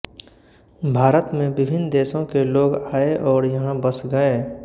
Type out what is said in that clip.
भारत में विभिन्न देशों के लोग आए और यहाँ बस गए